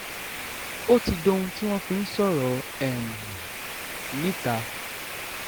ó ti dohun tí wọ́n fi ń sọ̀rọ̀ um níta